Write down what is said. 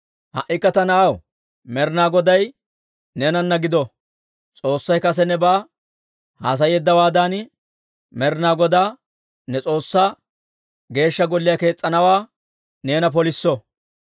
«Ha"ikka ta na'aw, Med'inaa Goday neenana gido. S'oossay kase nebaa haasayeeddawaadan, Med'inaa Godaa ne S'oossay Geeshsha Golliyaa kees's'anawaa neena polisso.